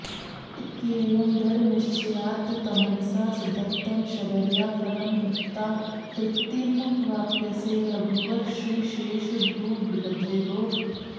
इत्येवं दृढनिश्चयात्तमनसा दत्तं शबर्या फलं भुक्त्ता तृप्तिमवाप्यसे रघुवर श्रीशेषभूभृद्विभो